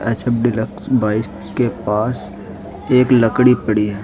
H F deluxe bike के पास एक लकड़ी पड़ी है।